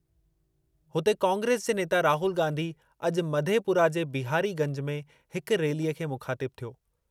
हुते, कांग्रेस जे नेता राहुल गांधी अॼु मधेपुरा जे बिहारीगंज में हिक रैलीअ खे मुख़ातिब थियो।